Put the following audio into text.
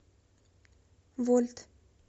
вольт